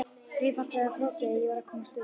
Einfalt eða flókið, ég varð að komast burt.